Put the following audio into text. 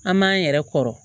An m'an yɛrɛ kɔrɔ